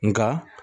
Nka